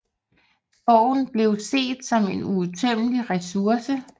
Skoven blev set som en uudtømmelig resource